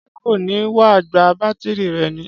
Ṣé kò ní wá gba bátírí rẹ̀ ní?